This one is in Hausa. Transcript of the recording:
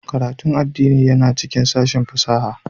Karatun addini yana cikin sashin fasaha